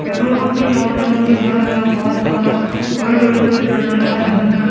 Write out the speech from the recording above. Petrol pump के चारों तरफ मुझे हरा भरा घास और बड़े बड़े पेड़ नजर आ रहे हैं।